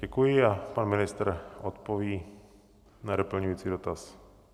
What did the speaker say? Děkuji a pan ministr odpoví na doplňující dotaz.